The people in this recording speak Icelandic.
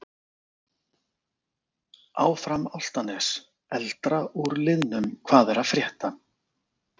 Áfram Álftanes.Eldra úr liðnum Hvað er að frétta?